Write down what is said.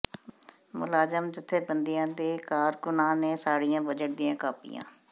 ਮੁਲਾਜ਼ਮ ਜਥੇਬੰਦੀਆਂ ਦੇ ਕਾਰਕੁਨਾਂ ਨੇ ਸਾੜੀਆਂ ਬਜਟ ਦੀਆਂ ਕਾਪੀਆਂ